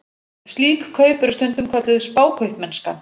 Slík kaup eru stundum kölluð spákaupmennska.